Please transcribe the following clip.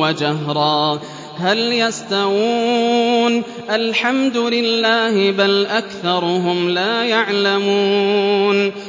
وَجَهْرًا ۖ هَلْ يَسْتَوُونَ ۚ الْحَمْدُ لِلَّهِ ۚ بَلْ أَكْثَرُهُمْ لَا يَعْلَمُونَ